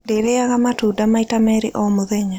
Ndĩrĩaga matunda maita merĩ o mũthenya.